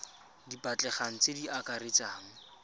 di batlegang tse di akaretsang